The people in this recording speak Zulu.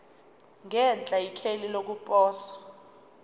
ngenhla ikheli lokuposa